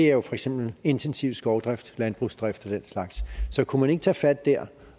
er for eksempel intensiv skovdrift landbrugsdrift og den slags så kunne man ikke tage fat der